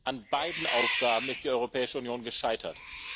An beiden Aufgaben ist die Europäische Union gescheitert.